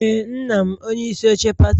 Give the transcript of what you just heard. Ee, nna m onye isi oche pati